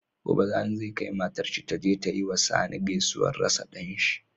Gobe sani zai kai matar shi taje ta yiwa sani gaisuwar rasa danshi